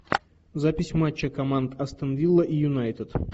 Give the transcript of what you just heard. запись матча команд астон вилла и юнайтед